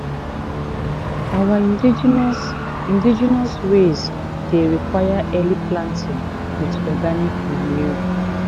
our indigenous indigenous ways dey require early planting with organic manure."